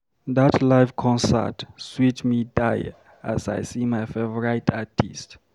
Dat live concert sweet me die as I see my favourite artist.